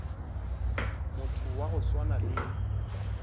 motho wa go swana le